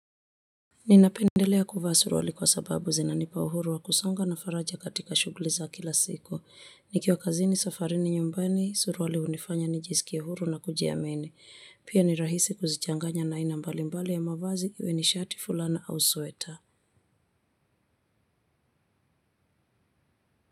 Ninapendelea kuvaa suruali kwa sababu zina nipa uhuru wa kusonga na faraja katika shuguli za kila siku. Nikiwa kazini safarini nyumbani, suruali unifanya nijisikie huru na kuji amini. Pia ni rahisi kuzichanganya na aina mbali mbali ya mavazi iwe ni shati fulana au sweta.